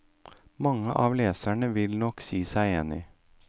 Mange av leserne vil nok si seg enig.